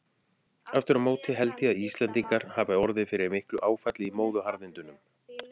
Aftur á móti held ég að Íslendingar hafi orðið fyrir miklu áfalli í móðuharðindunum.